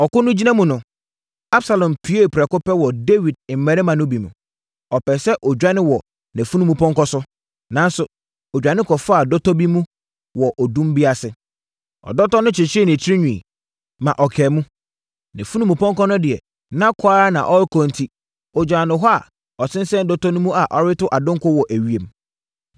Ɔko no gyina mu no, Absalom puee prɛko pɛ wɔ Dawid mmarima no bi mu. Ɔpɛɛ sɛ ɔdwane wɔ nʼafunumpɔnkɔ so, nanso ɔdwane kɔfaa dɔtɔ bi mu wɔ odum bi ase. Ɔdɔtɔ no kyekyeree ne tirinwi, ma ɔkaa mu. Nʼafunumpɔnkɔ no deɛ, na kɔ ara na ɔrekɔ enti, ɔgyaa no hɔ a, ɔsensɛn dɔtɔ no mu a ɔreto adonko wɔ ewiem.